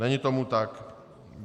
Není tomu tak.